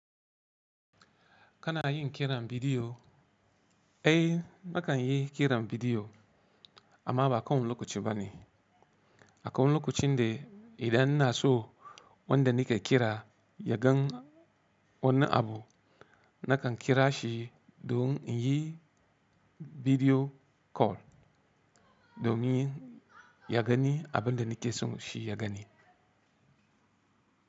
Kana yin kiran bidiyo? Ai nakan yi kiran bidiyo amma ba Kowane lokaci ba ne. Akwai lokacin da idan ina so wanda nike kira yagan wani abu, nakan kira shi don in yi bidiyo Call l domin yagani abin da nike so shi yagani.